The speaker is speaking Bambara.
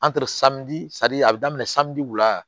a bɛ daminɛ wula